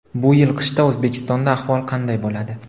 Bu yil qishda O‘zbekistonda ahvol qanday bo‘ladi?.